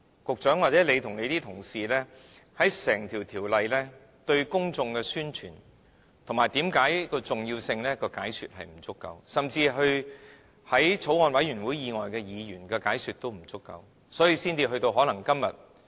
局長，或許你和你的同事在整項《條例草案》方面，對公眾的宣傳、對其重要性的解說並不足夠，甚至對法案委員會以外的議員的解說也不足夠，所以才可能造成今天......